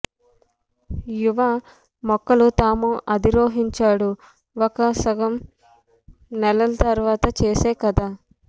యువ మొక్కలు తాము అధిరోహించాడు ఒక సగం నెలల తర్వాత చేసే కధ